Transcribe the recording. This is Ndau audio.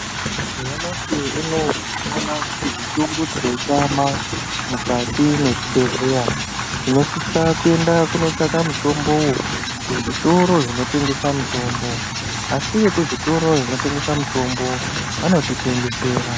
Nyamashi unowo tinoona kuti mitombo tikaitama mukati mezvibhedheya tinosisa kuenda kunotsvaka mutombo kuzvitoro zvinotengesa mitombo asi vekuzvitoro zvinotengesa mitombo vanotitengesera.